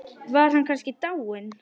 Var hann kannski dáinn?